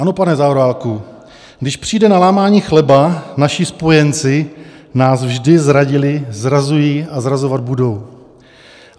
Ano, pane Zaorálku, když přijde na lámání chleba, naši spojenci nás vždy zradili, zrazují a zrazovat budou.